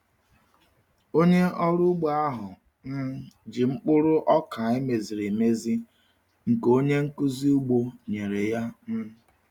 Onye ọrụ ugbo ahụ um ji mkpụrụ ọka emeziri emezi nke onye nkuzi ugbo nyere ya. um